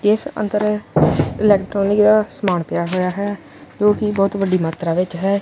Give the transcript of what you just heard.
ਇੱਸ ਅੰਦਰ ਇਲੈਕਟ੍ਰੋਨਿਕ ਦਾ ਸਮਾਨ ਪਿਆ ਹੋਇਆ ਹੈ ਜੋ ਕੀ ਬਹੁਤ ਵੱਡੀ ਮਾਤਰਾ ਵਿੱਚ ਹੈ।